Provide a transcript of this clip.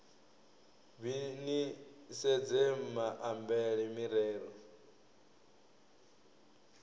b ni sedze maambele mirero